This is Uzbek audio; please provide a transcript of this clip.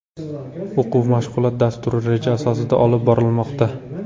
O‘quv-mashg‘ulot dasturi reja asosida olib borilmoqda.